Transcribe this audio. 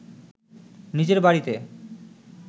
নিজের বাড়িতে